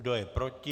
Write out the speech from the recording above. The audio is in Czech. Kdo je proti?